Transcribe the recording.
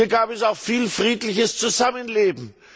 ist. Hier gab es auch viel friedliches Zusammenleben.